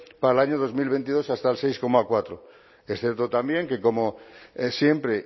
para el año dos mil veintidós hasta el seis coma cuatro es cierto también que como siempre